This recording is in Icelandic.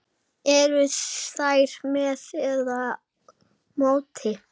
Eruð þér með eða móti?